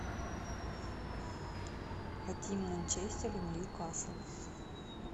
хотим манчестер ньюкасл